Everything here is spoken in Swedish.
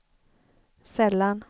sällan